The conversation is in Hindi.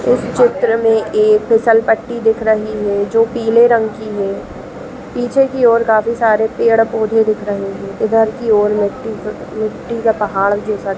इस चित्र में एक फिसल पट्टी दिख रही हैं जो पिले रंग की है पीछे की ओर काफी सारे पेड़ पौधे दिख रहे है इधर की ओर मिट्टी की मिटटी का पहाड़ जैसा--